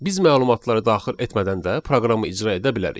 Biz məlumatları daxil etmədən də proqramı icra edə bilərik.